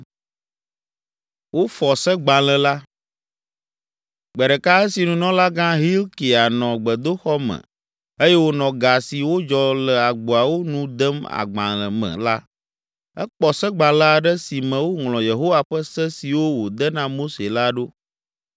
Gbe ɖeka esi nunɔlagã Hilkia nɔ gbedoxɔ me eye wònɔ ga si wodzɔ le agboawo nu dem agbalẽ me la, ekpɔ Segbalẽ aɖe si me woŋlɔ Yehowa ƒe Se siwo wòde na Mose la ɖo!